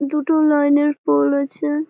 দুটো লাইন -এর পোল আছে।